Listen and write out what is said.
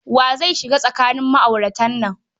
Wa zai shiga tsakanin ma'auratan nan?